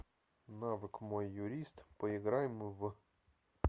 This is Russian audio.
навык мой юрист поиграем в